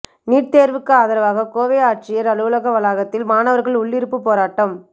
NEET தேர்வுக்கு ஆதரவாக கோவை ஆட்சியர் அலுவலக வளாகத்தில் மாணவர்கள் உள்ளிருப்புப் போராட்டம்